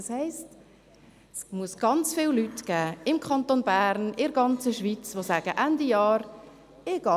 Das heisst: Es muss ganz viele Leute im Kanton Bern und in der Schweiz geben, die sich sagen: